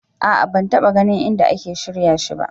A'a ban taɓa ganin inda ake shirya shi ba.